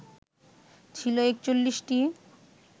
ছিল ৪১টি